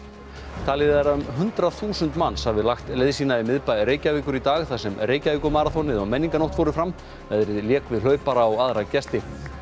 talið er að um hundrað þúsund manns hafi lagt leið sína í miðbæ Reykjavíkur í dag þar sem Reykjavíkurmaraþonið og menningarnótt fóru fram veðrið lék við hlaupara og aðra gesti